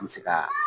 An bɛ se ka